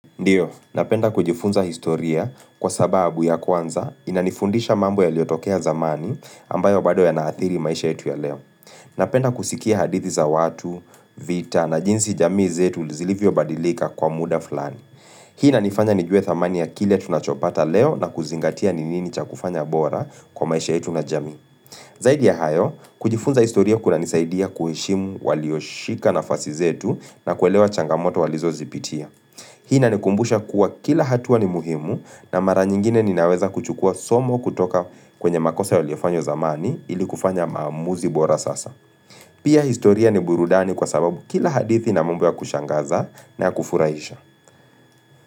Ndio, napenda kujifunza historia kwa sababu ya kwanza inanifundisha mambo ya iliotokea zamani ambayo bado yanaathiri maisha yetu ya leo. Napenda kusikia hadithi za watu, vita na jinsi jamii zetu zilivyo badilika kwa muda fulani. Hii inanifanya nijue thamani ya kile tunachopata leo na kuzingatia ni nini cha kufanya bora kwa maisha yetu na jamii. Zaidi ya hayo, kujifunza historia kunanisaidia kuheshimu walioshika nafasi zetu na kuelewa changamoto walizozipitia. Hii na nikumbusha kuwa kila hatua ni muhimu na mara nyingine ninaweza kuchukua somo kutoka kwenye makosa waliofanya zamani ili kufanya maamuzi bora sasa. Pia historia ni burudani kwa sababu kila hadithi na mumbu ya kushangaza na kufuraisha.